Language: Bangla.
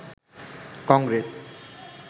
কংগ্রেস